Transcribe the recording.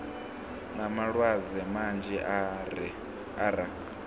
na malwadze manzhi e ra